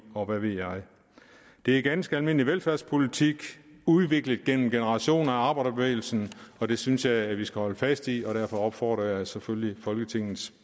og hvad ved jeg det er ganske almindelig velfærdspolitik udviklet gennem generationer af arbejderbevægelsen og det synes jeg vi skal holde fast i og derfor opfordrer jeg selvfølgelig folketingets